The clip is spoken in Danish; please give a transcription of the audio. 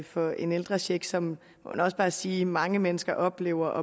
for den ældrecheck som man også bare må sige mange mennesker oplevede